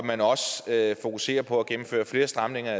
at fokuserer på at gennemføre flere stramninger